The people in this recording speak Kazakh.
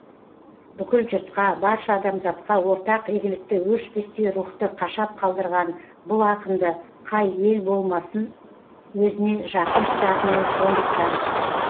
бүкіл жұртқа барша адамзатқа ортақ игілікті өшпестей рухты қашап қалдырған бұл ақынды қай ел болмасын өзіне жақын тұтатыны сондықтан